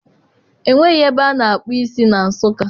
Enweghị ebe ana akpụ isi na Nsụka.